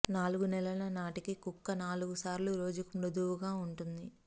నాలుగు నెలల నాటికి కుక్క నాలుగు సార్లు రోజుకు మృదువుగా ఉంటుంది